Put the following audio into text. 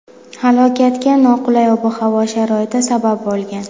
Halokatga noqulay ob-havo sharoiti sabab bo‘lgan.